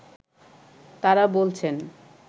তারা বলছেন